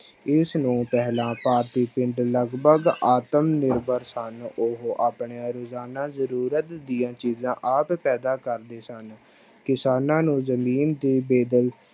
ਇਸ ਨੂੰ ਪਹਿਲਾਂ ਭਾਰਤੀ ਪਿੰਡ ਲਗਪਗ ਆਤਮ ਨਿਰਭਰ ਸਨ ਉਹ ਆਪਣੇ ਰੋਜ਼ਾਨਾ ਜ਼ਰੂਰਤ ਦੀਆਂ ਚੀਜ਼ਾਂ ਆਦਿ ਪੈਦਾ ਕਰਦੇ ਸਨ, ਕਿਸਾਨਾਂ ਨੂੰ ਜ਼ਮੀਨ ਦੀ